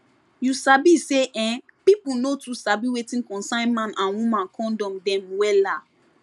you sabi say[um]pipu no too sabi wetin concern man and woman condom dem wella